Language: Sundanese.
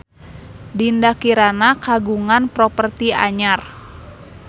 Dinda Kirana kagungan properti anyar